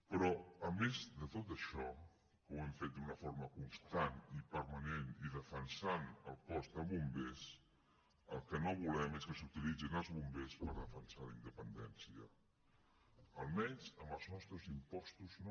però a més de tot això que ho hem fet d’una forma constant i permanent i defensant el cos de bombers el que no volem és que s’utilitzin els bombers per defensar la independència almenys amb els nostres impostos no